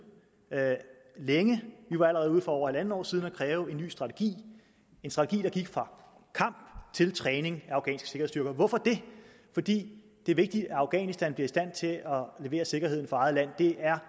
længe vi var allerede for over halvandet år siden ude at kræve en ny strategi en strategi der gik fra kamp til træning af afghanske sikkerhedsstyrker hvorfor det fordi det er vigtigt at afghanistan bliver i stand til at levere sikkerheden for eget land det er